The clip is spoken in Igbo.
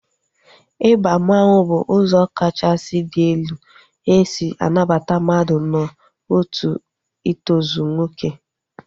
Ịba mmanwu bụ ụzọ kachasị dị elu esi anabata mmadụ n'otu itozu nwoke